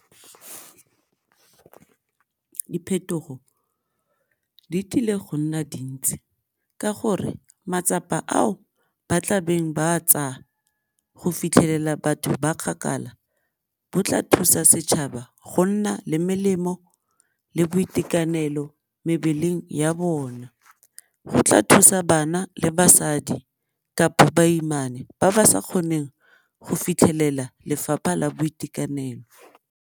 Diphetogo di tlile go nna dintsi ka gore matsapa ao ba tla beng ba tsaya go fitlhelela batho ba kgakala bo tla thusa setšhaba go nna le melemo le boitekanelo mebeleng ya bona, go tla thusa bana le basadi kapa baimane ba ba sa kgoneng go fitlhelela lefapha la boitekanelo.